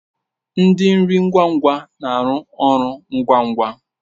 Ndi nri ngwa ngwa na aru ọrụ ngwa ngwa